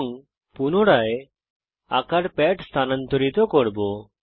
এবং পুনরায় আঁকার প্যাড স্থানান্তরিত করব